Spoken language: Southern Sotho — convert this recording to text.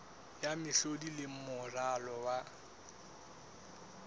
ya mehlodi le moralo wa